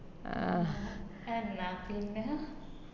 എന്ന പിന്നാ